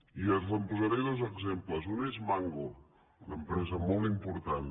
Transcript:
i posaré dos exemples un és mango una empresa molt important